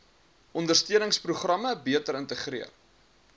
ondersteuningsprogramme beter integreer